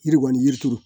Yiri kɔni yiri turu